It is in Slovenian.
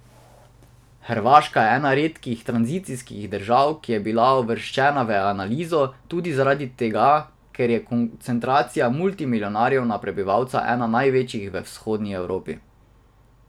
Hrvaška je ena redkih tranzicijskih držav, ki je bila uvrščena v analizo, tudi zaradi tega, ker je koncentracija multimilijonarjev na prebivalca ena največjih v vzhodni Evropi.